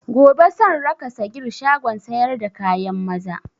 Gobe san raka sagir shagon sayar da kayan maza